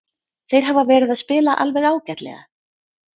Þeir hafa verið að spila alveg ágætlega.